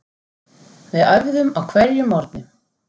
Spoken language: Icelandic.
Við æfðum á hverjum morgni.